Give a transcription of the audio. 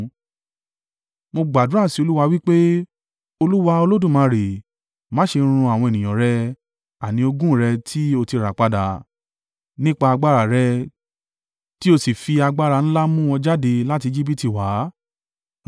Mo gbàdúrà sí Olúwa wí pé, “Olúwa Olódùmarè, má ṣe run àwọn ènìyàn rẹ, àní ogún rẹ tí o ti rà padà, nípa agbára rẹ tí o sì fi agbára ńlá mú wọn jáde láti Ejibiti wá.